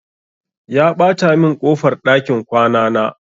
Ya ɓata min ƙofar ɗakin kwana na.